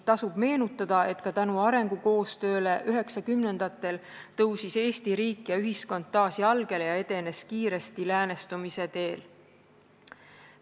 Tasub meenutada, et ka tänu arengukoostööle üheksakümnendatel tõusis Eesti riik ja ühiskond taas jalgele ja edenes kiiresti läänestumise teel.